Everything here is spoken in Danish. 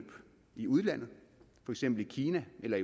i udlandet for eksempel i kina eller